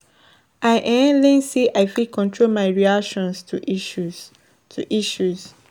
I um learn say I fit control my reaction to issues. to issues.